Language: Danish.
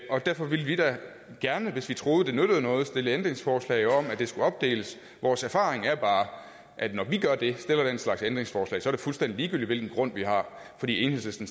og derfor vil vi da gerne hvis vi troede det nyttede noget stille ændringsforslag om at det skulle opdeles vores erfaring er bare at når vi gør det stiller den slags ændringsforslag så er det fuldstændig ligegyldigt hvilken grund vi har fordi enhedslisten